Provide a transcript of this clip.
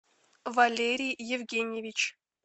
валерий евгеньевич